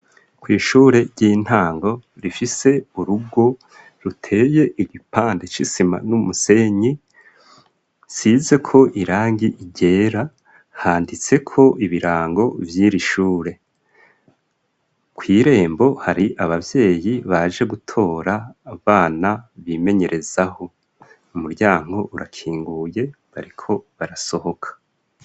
kw'ishure ry'intango rifise urugo ruteye igipande c'isima n'umusenyi usizeko irangi ryera handitseko ibirango vy'ishure. Kw'irembo hari abavyeyi baje gutora abana bimenyerezaho umuryango urakinguye bariko barasohoka.